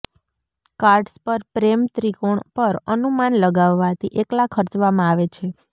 cards પર પ્રેમ ત્રિકોણ પર અનુમાન લગાવવાથી એકલા ખર્ચવામાં આવે છે